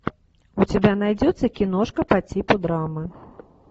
у тебя найдется киношка по типу драмы